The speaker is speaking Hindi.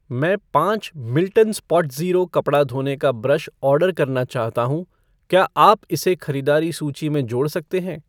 मैं पाँच मिल्टन स्पॉटज़ीरो कपड़ा धोने का ब्रश ऑर्डर करना चाहता हूँ, क्या आप इसे खरीदारी सूची में जोड़ सकते हैं?